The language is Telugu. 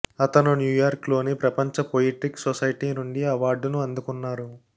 అతను న్యూయార్క్ లోని ప్రపంచ పొయిట్రిక్ సొసైటీ నుండి అవార్డును అందుకున్నారు